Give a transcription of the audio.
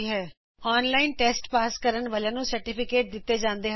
ਜੇਹੜੇ online test pass ਕਰਦੇ ਹਨ ਓਹਨਾਂ ਨੂੰ ਪਰਮਾਣ ਪੱਤਰ ਵੀ ਦਿੱਤੇ ਜਾਂਦੇ ਹਨ